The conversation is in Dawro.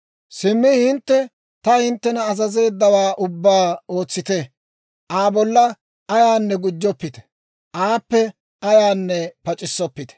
«Simmi hintte ta hinttena azazeeddawaa ubbaa ootsite; Aa bolla ayaanne gujjoppite; aappe ayaanne pac'issoppite.